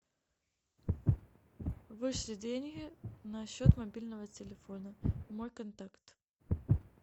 вышли деньги на счет мобильного телефона мой контакт